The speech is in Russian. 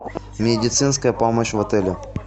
медицинская помощь в отеле